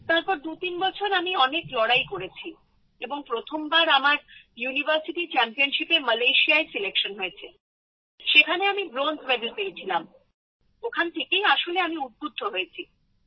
তারপর দুতিন বছর আমি অনেক লড়াই করেছি এবং প্রথমবার আমার ইউনিভার্সিটি চ্যাম্পিয়নশিপে মালয়েশিয়া সিলেকশন হয়েছে আর সেখানে আমি ব্রোঞ্জ পেয়েছিলাম ওখান থেকেই আসলে আমি উদ্বুদ্ধ হয়েছি